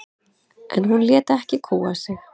En hún lét ekki kúga sig.